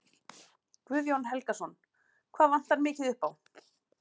Guðjón Helgason: Hvað vantar mikið upp á?